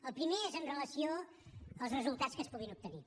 el primer és amb relació als resultats que es puguin obtenir